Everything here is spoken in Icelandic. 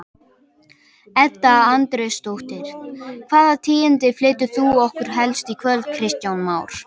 Edda Andrésdóttir: Hvaða tíðindi flytur þú okkur helst í kvöld Kristján Már?